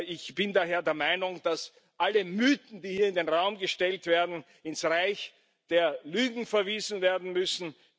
Ich bin daher der Meinung, dass alle Mythen, die hier in den Raum gestellt werden, ins Reich der Lügen verwiesen werden müssen.